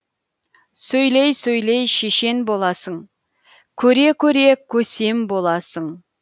сөйлей сөйлей шешен боласың көре көре көсем боласың